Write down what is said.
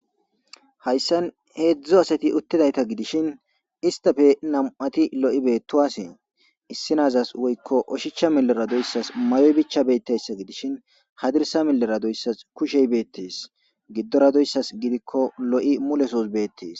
Hayssan heedzdzu asati uttidayta gidishin istafe nam'ati lo'i beettowasee issi naazas woykko oshicha milera doyssas mayoy bicha beettayssa gidishin hadirsa milera doyssas kushey beettes giddoradoyssas gidikko lo'i mulesos beettes.